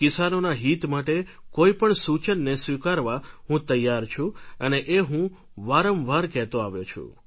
કિસાનોના હિત માટે કોઈ પણ સૂચનને સ્વીકારવા હું તૈયાર છું અને એ હું વારંવાર કહેતો આવ્યો છું